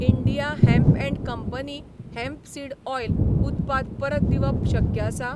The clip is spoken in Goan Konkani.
India hemp and company hemp seed oil उत्पाद परत दिवप शक्य आसा?